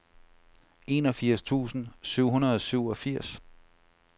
enogfirs tusind syv hundrede og syvogfirs